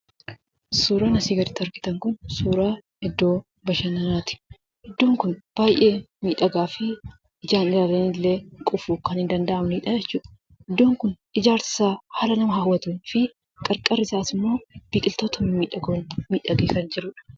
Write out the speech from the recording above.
Suuraan asii gaditti argitan Kun, suuraa iddoo bashannanaati. Iddoon Kun baayyee miidhagaa fi jaalala illee quufuu kan danda'amnedha jechuudha. Iddoon Kun ijaarsi isaa haala nama hawwatuu fi qarqarri isaa immoo biqiltoota mimmiidhagoon miidhagee kan jiruudha.